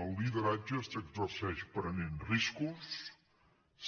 el lideratge s’exerceix prenent riscos